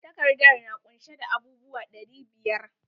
Takardar na kunshe da abub uwa ɗari biyar.